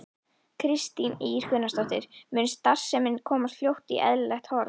Kristín Ýr Gunnarsdóttir: Mun starfsemin komast fljótt í eðlilegt horf?